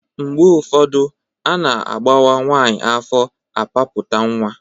Mgbe ụfọdụ a na-agbọwa nwaanyị afọ apapụta nwa.